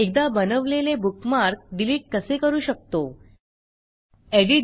एकदा बनवलेले bookmark delete कसे करू शकतो160